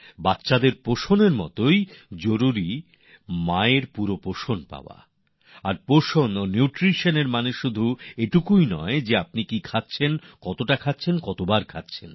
শিশুদের পুষ্টির জন্য ততটাই জরুরি মায়ের সম্পুর্ণ পুষ্টির সুযোগ পাওয়া আর পুষ্টি বা নিউট্রিশনএর অর্থ কেবল এটাই নয় যে আপনি কি খাচ্ছেন কতটা খাচ্ছেন কতবার খাচ্ছেন